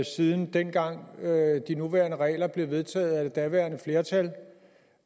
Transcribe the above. siden dengang de nuværende regler blev vedtaget af det daværende flertal